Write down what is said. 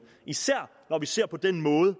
især når vi ser på den måde